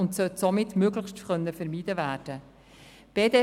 Dies sollte möglichst vermieden werden können.